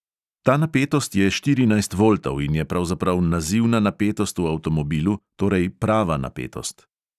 Ta napetost je štirinajst voltov in je pravzaprav nazivna napetost v avtomobilu, torej prava napetost.